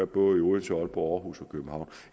både i odense aalborg aarhus og københavn